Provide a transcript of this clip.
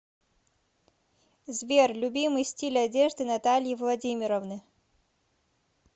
сбер любимый стиль одежды натальи владимировны